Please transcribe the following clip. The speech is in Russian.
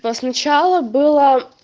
но сначала было